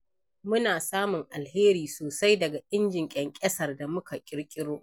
Muna samun alheri sosai daga injin ƙyanƙyasar da muka ƙirƙiro.